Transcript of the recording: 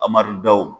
Amadu daw